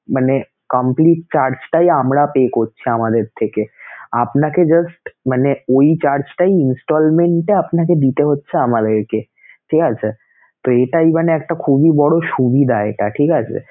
মানে complete charge টাই আমরা pay করছি আমাদের থেকে আপনাকে just মানে ঐ charge টাই installment এ আপনাকে দিতে হচ্ছে আমাদেরকেঠিক আছে sir তো এটাই মানে একটা খুবই বড় সুবিধা এটা, ঠিক আছে